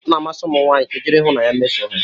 Ọ na-amasị ụmụ nwanyị ka e jiri ịhụnanya mesoo ha